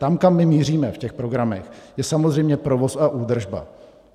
Tam, kam my míříme v těch programech, je samozřejmě provoz a údržba.